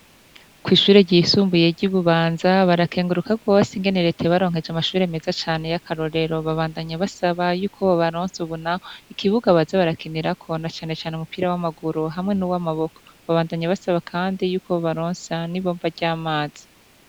Kw'ishure ryisumbuye ry'i Bubanza barakenguruka gose ingene reta yabaronkeje amashuri meza cane y'akarorero, babandanya basaba yuko bobaronsa ubu naho ikibuga baze barakinirako na cane cane umupira w'amaguru hamwe n'uw'amaboko babandanya basaba kandi yuko bobaronsa n'ibombo ry'amazi.